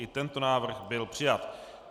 I Tento návrh byl přijat.